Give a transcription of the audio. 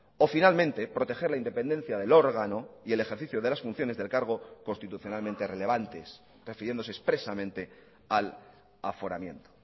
o finalmente proteger la independencia del órgano y el ejercicio de las funciones del cargo constitucionalmente relevantes refiriéndose expresamente al aforamiento